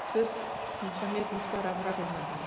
сөз құл мұхаммед мұхтар абрарұлына береді